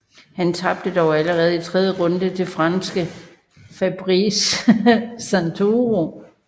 Han tabte dog allerede i tredje runde til franske Fabrice Santoro